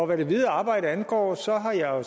hvad det videre arbejde angår så har jeg jo